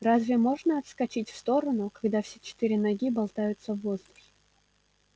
разве можно отскочить в сторону когда все четыре ноги болтаются в воздухе